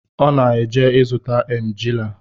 Ọ na-eje ịzụta emajili